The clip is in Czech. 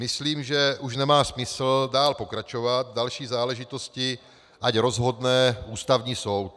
Myslím, že už nemá smysl dál pokračovat, další záležitosti ať rozhodne Ústavní soud.